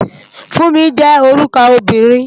Funmi jé órúkò óbìrín